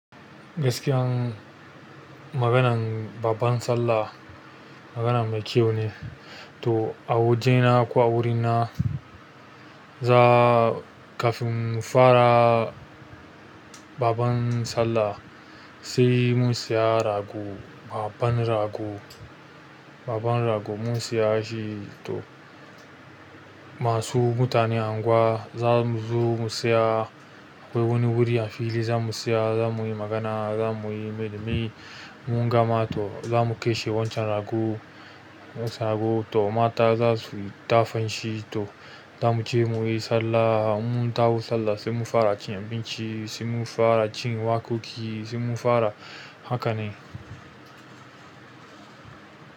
Gaskiyan maganan Babban Sallah maganan mai kyau ne. To a wajena ko a wurina kafin mu fara. Babban sallah sai mun saya rago. Babban rago, babban rago mun siya shi to masu mutanen anguwa za mu zo mu tsaya. Akwai wani wuri a fili za mu tsaya za mu yi magana, za mu yi mulmi, in mun gama to za mu kashe wancan rago, to mata za su dafa shi. To za mu je mu yi sallah. Mun taho sallah sai mu fara cin abinci, sai mu fara jin waƙoƙi, sai mu fara haka ne.